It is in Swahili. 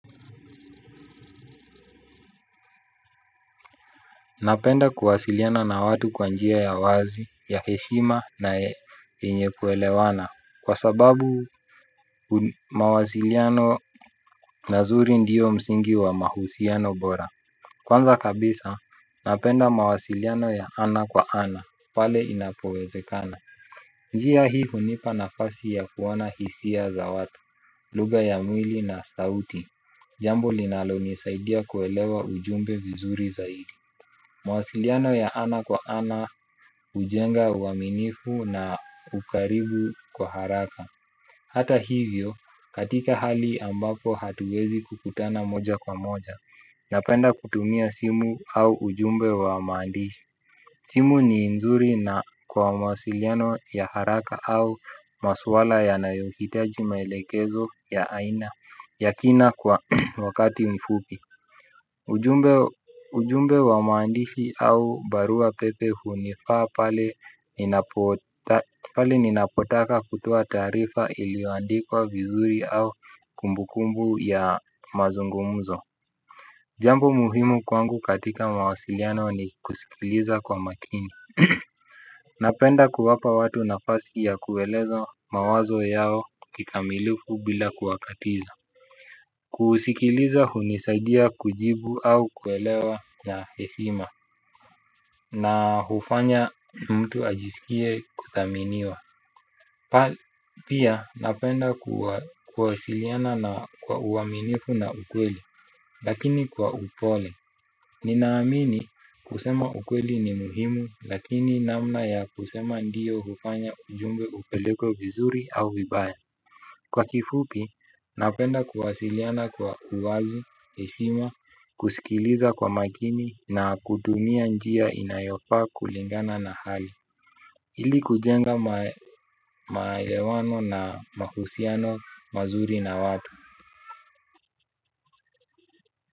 Napenda kuwasiliana na watu kwa njia ya wazi, ya heshima na yenye kuelewana kwa sababu mawasiliano mazuri ndio msingi wa mahusiano bora. Kwanza kabisa, napenda mawasiliano ya ana kwa ana, pale inapowezekana. Njia hii hunipa nafasi ya kuona hisia za watu, lugha ya mwili na sauti. Jambo linalonisaidia kuelewa ujumbe vizuri zaidi. Mawasiliano ya ana kwa ana hujenga uaminifu na ukaribu kwa haraka. Hata hivyo, katika hali ambako hatuwezi kukutana moja kwa moja napenda kutumia simu au ujumbe wa maandishi. Simu ni nzuri na kwa mawasiliano ya haraka au maswala yanayohitaji maelekezo ya aina ya kina kwa wakati mfupi. Ujumbe wa maandishi au barua pepe hunifaa pale ninapotaka kutoa taarifa iliyoandikwa vizuri au kumbukumbu ya mazungumzo. Jambo muhimu kwangu katika mawasiliano ni kusikiliza kwa makini. Napenda kuwapa watu nafasi ya kuelezo mawazo yao kikamilifu bila kuwakatiza. Kusikiliza hunisaidia kujibu au kuelewa na heshima na hufanya mtu ajisikie kuthaminiwa. Pia napenda kuwasiliana na kwa uaminifu na ukweli. Lakini kwa upole. Ninaamini kusema ukweli ni muhimu. Lakini namna ya kusema ndiyo hufanya ujumbe upelekwe vizuri au vibaya. Kwa kifupi, napenda kuwasiliana kwa uwazi, heshima, kusikiliza kwa makini na kutumia njia inayofaa kulingana na hali ili kujenga maelewano na mahusiano mazuri na watu.